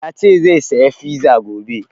Ya ce zai saya fiza gobe